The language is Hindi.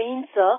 जय हिन्द सर